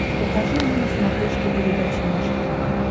покажи мне на смотрешке передачу наше тв